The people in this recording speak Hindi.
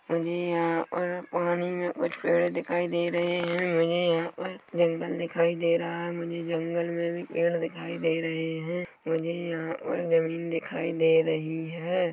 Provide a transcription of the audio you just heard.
मुझे यहाँ पर पानी में कुछ पेड़ दिखाई दे रहे है मुझे यहाँ पर जंगल दिखाई दे रहा है मुझे जंगल में भी पेड़ दिखाई रहे है मुझे यहाँ और ज़मीन दिखाई दे रही हैं।